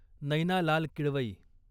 Naina Lal Kidwai